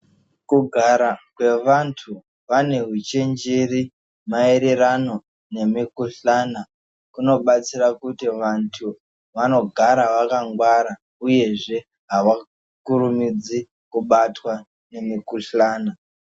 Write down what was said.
Kugara kwevantu vanehuchenjeri maererano nemikuhlana kunobatsira kuti vantu vanogara vakangwara uyezve havakurumidzi kubatwa ngemukuhlana.